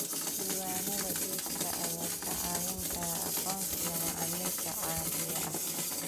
Diiwaanada iibka ayaa kaa caawin kara aqoonsiga macaamiisha caadiga ah.